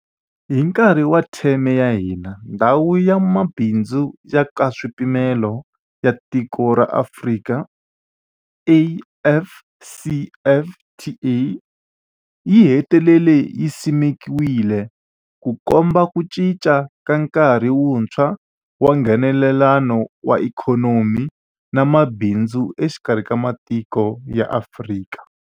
Hi nkarhi wa theme ya hina, Ndhawu ya Mabindzu ya Nkaswipimelo ya Tikokulu ra Afrika, AfCFTA yi hetelele yi simekiwile, Ku komba ku cinca ka nkarhi wuntshwa wa Nghenelelano wa ikhonomi na mabindzu exikarhi ka matiko ya Afrika.